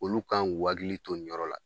Olu kan k'u hakilli to nin yɔrɔ la